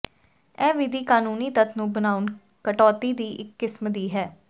ਇਹ ਵਿਧੀ ਕਾਨੂੰਨੀ ਤੱਥ ਨੂੰ ਬਣਾਉਣ ਕਟੌਤੀ ਦੀ ਇੱਕ ਕਿਸਮ ਦੀ ਹੈ